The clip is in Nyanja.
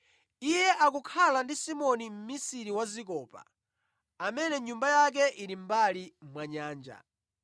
Iye akukhala ndi Simoni mmisiri wa zikopa, amene nyumba yake ili mʼmbali mwa nyanja.”